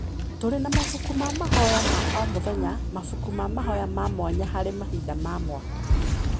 Tũrĩ na mabuku ma mahoya ma o mũthenya, mabuku ma mahoya ma mwanya harĩ mahinda ma mwaka,